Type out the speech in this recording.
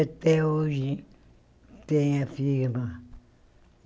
Até hoje tenho a firma.